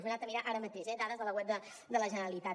ho he anat a mirar ara mateix eh dades de la web de la generalitat